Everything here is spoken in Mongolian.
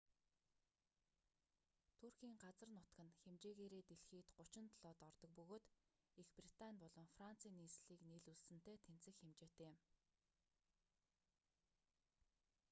туркийн газар нутаг нь хэмжээгээрээ дэлхийд 37-д ордог бөгөөд их британи болон францын нийслэлийг нийлүүлсэнтэй тэнцэх хэмжээтэй юм